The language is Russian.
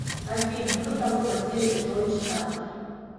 афина кто такой василий петрович стасов